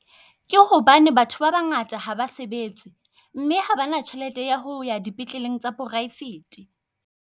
Ke hobane batho ba bangata ha ba sebetse, mme ha ba na tjhelete ya ho ya dipetlele tsa poraefete.